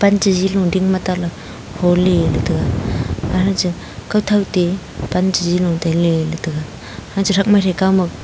pan che ze long ding ma tan phoney ley taega kao Thao te pan che ze che ley ngan taega ha che thak ma.